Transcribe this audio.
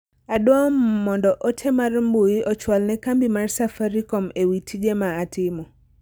Adwao mondo ote mar mbui ochwal ne kambi mar safaricom ewi tije ma atimo.